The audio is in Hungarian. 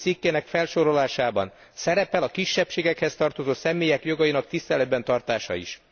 2. cikkének felsorolásában szerepel a kisebbségekhez tartozó személyek jogainak tiszteletben tartása is.